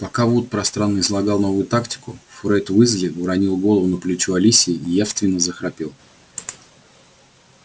пока вуд пространно излагал новую тактику фред уизли уронил голову на плечо алисии и явственно захрапел